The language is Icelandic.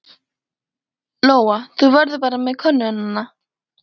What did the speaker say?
Lóa: Þú verður bara með könnuna?